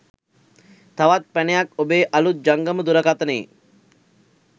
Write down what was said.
තවත් පැනයක් ඔබේ අළුත් ජංගම දුරකථනයේ